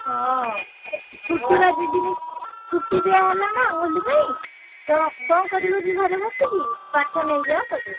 ହଁ ଛୁଟି ବା ଦି ଦିନ ଛୁଟି ଦିଆହେଲା ନାଁ ହୋଲି ପାଇଁ ତ କଣ କରିବ କି ଘରେ ବସିକି ପାଠ ନେଇଯାଅ କରିବ।